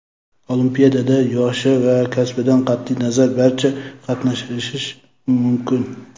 Olimpiadada yoshi va kasbidan qat’iy nazar barcha qatnashishi mumkin.